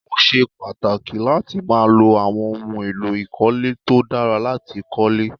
Ó ṣe pàtàkì láti máa lo àwọn ohun èlò ìkọ́lé tó dára láti kólé